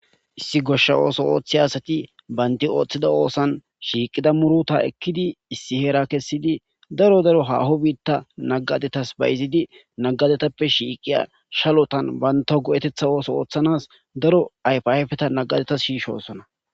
issi goshsha ooso ooththe asati baynti ooththida oosan shiiqida muruta ekkidi issi heera kessidi daro daro haho biitta nagadetas bayizidi nagadetappe shiiqiya shalotan baynta go7etetha ooso ooththanas daro ayfayfeta nagadeta shiishosona